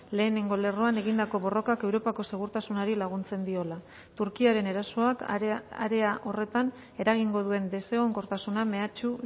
lehenengo lerroan egindako borrokak europako segurtasunari laguntzen diola turkiaren erasoak area horretan eragingo duen desegonkortasuna mehatxu